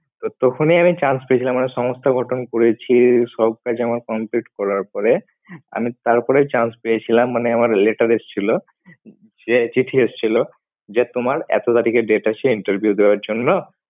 তো তখনই আমি chance পেয়েছিলাম একটা সংস্থা গঠন করেছি সব কাজ আমার করার পরে আমি তারপরে chance পেয়েছিলাম মানে আমার letter এসছিল যে চিঠি এসছিল যে তোমার এতো তারিখে date আছে interview দেওয়ার জন্য।